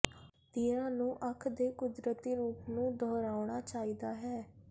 ਤੀਰਾਂ ਨੂੰ ਅੱਖ ਦੇ ਕੁਦਰਤੀ ਰੂਪ ਨੂੰ ਦੁਹਰਾਉਣਾ ਚਾਹੀਦਾ ਹੈ